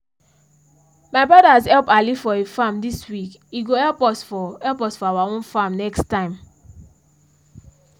my brothers help ali for he farm this week he go help us for help us for our own farm next time